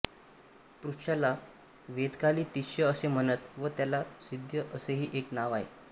पुष्याला वेदकाली तिष्य असे म्हणत व त्याला सिध्य असेही एक नाव आहे